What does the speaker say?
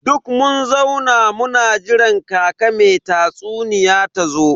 Duk mun zauna muna jiran kaka me tatsuniya tazo.